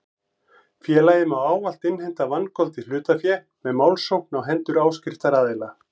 Félagið má ávallt innheimta vangoldið hlutafé með málsókn á hendur áskriftaraðila.